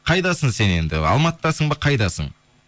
қайдасың сен енді алматыдасың ба қайдасың